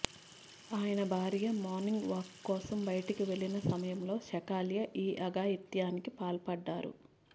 ఆయన భార్య morning walk కోసం బయటికి వెళ్లిన సమయంలో షకాల్యే ఈ అఘాయిత్యానికి పాల్పడ్డారు